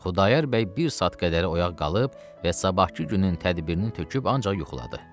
Xudayar bəy bir saat qədər oyaq qalıb və sabahkı günün tədbirini töküb ancaq yuxuladı.